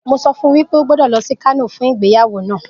Mo sọ fún wípé o gbọ́dọ̀ lọ sí Kano fún ìgbéyàwó náà